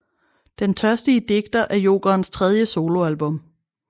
Den Tørstige Digter er Jokerens tredje soloalbum